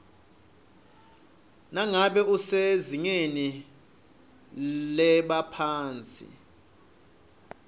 nangabe usezingeni lebaphatsi